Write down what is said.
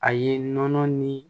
A ye nɔnɔ ni